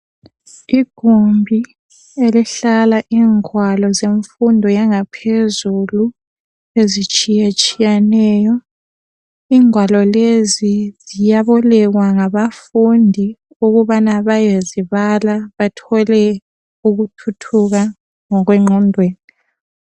Igumbi elihlala ingwalo zemfundo yangaphezulu ezitshiye tshiyeneyo ingwalo lezi ziyabolekwa ngabafundi ukubana bayezibala bathole ukuthuthuka ngokwe ngqondweni.